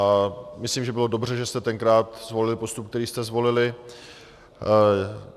A myslím, že bylo dobře, že jste tenkrát zvolili postup, který jste zvolili.